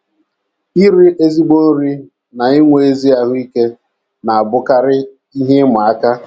IRI ezigbo nri na inwe ezi ahụ́ ike na - abụkarị ihe ịma aka..